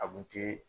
A kun te